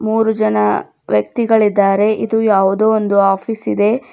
ಮೂರು ಜನ ವ್ಯಕ್ತಿಗಳಿದ್ದಾರೆ ಇದು ಯಾವುದೋ ಒಂದು ಆಫೀಸ್ ಇದೆ.